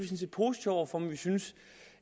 set positive over for men vi synes